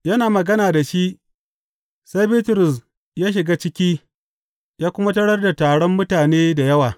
Yana magana da shi, sai Bitrus ya shiga ciki ya kuma tarar da taron mutane da yawa.